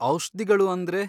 ಔಷ್ಧಿಗಳು ಅಂದ್ರೆ?